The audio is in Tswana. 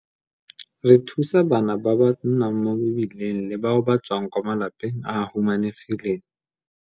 Re thusa bana ba ba nnang mo mebileng le bao ba tswang kwa malapeng a a humanegileng.